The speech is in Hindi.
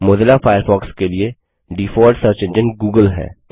मोज़िला फ़ायरफ़ॉक्स के लिए डीफॉल्ट सर्च एंजिन गूगल है